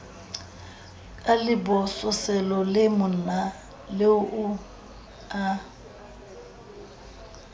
ka lebososelo le monaleo a